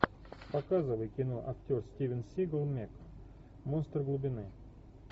показывай кино актер стивен сигал мег монстр глубины